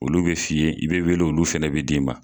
Olu bɛ f'i ye i bɛ wele olu fɛnɛ bɛ d'i ma.